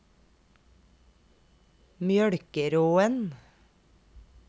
Mjølkeråen